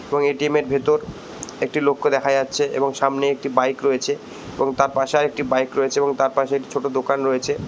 এবং এ.টি.এম. এর ভেতর একটি লোককে দেখা যাচ্ছে এবং সামনে একটি বাইক রয়েছে এবং তার পাশে আর একটি বাইক রয়েছে এবং তার পাশে একটি ছোট দোকান রয়েছে।